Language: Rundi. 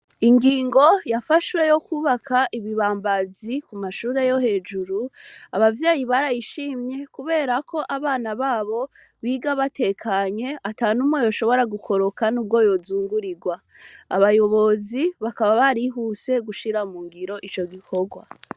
Ingingo yafashwe yokubaka ibibambazi kumashure yohejuru abavyeyi barayishimye kuberako abana babo biga batekanye atanumwe yoshobora gukoroka nubwo yozungurigwa, abayobozi bakaba barihuse gushira mungiro ico gikogwa.